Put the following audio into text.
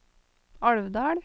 Alvdal